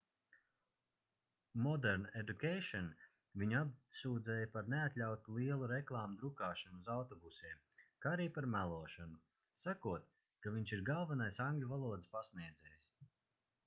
modern education viņu apsūdzēja par neatļautu lielu reklāmu drukāšanu uz autobusiem kā arī par melošanu sakot ka viņš ir galvenais angļu valodas pasniedzējs